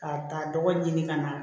K'a ta dɔgɔ ɲini ka na